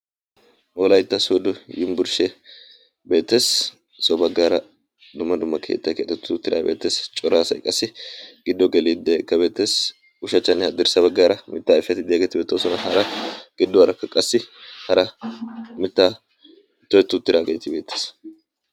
Wolaytta sodo yimbburshshe beettees. so baggaara dumma dumma keettai keexettu tiraa beetees coraasay qassi giddo geliiddeeka beettees. ushachchanne haddirssa baggaara mittaa ayfeti diyaageeti beetoosona hara gidduwaarakka qassi hara mittaa tohettu tiraageetii beettees.